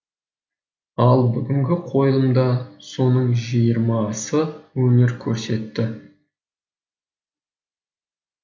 ал бүгінгі қойылымда соның жиырмасы өнер көрсетті